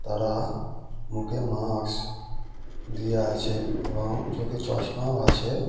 তারা মুখে মাস্ক দিয়ে আছে এবং চোখে চশমাও আছে।